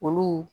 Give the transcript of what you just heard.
Olu